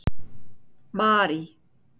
Marý